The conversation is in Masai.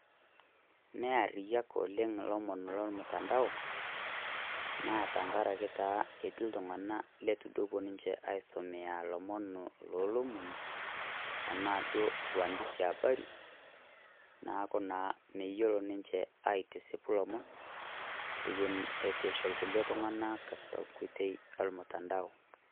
Neyariyiak yiook iloomon le mtandao naatenkaraki taa etii liltunganak letiepuoo aisomea loomon loloomoni aa uandishi eabari neaku meyiolo ninje atisipu loomon itu esipu tolomon lolmtandao